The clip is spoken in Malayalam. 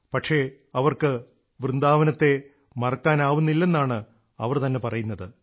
പക്ഷേ അവർക്ക് വൃന്ദാവനത്തെ മറക്കാനാവുന്നില്ലെന്നാണ് അവർ തന്നെ പറയുന്നത്